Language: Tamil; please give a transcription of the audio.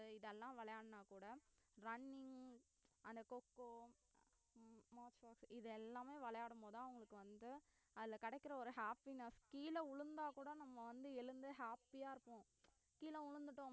இதெல்லாம் விளையாடுன கூட running அந்த coco இது எல்லாம் விளையாடும் போது தான் அவுங்களுக்கு அதுல கிடைக்கிற ஒரு happiness கீழ விழுந்தா கூட நம்ம வந்து எழுந்து happy யா இருக்கும் கீழே விழுந்துட்டோமே